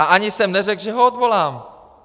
A ani jsem neřekl, že ho odvolám!